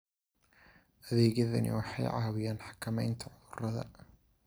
Adeegyadani waxay caawiyaan xakamaynta cudurrada.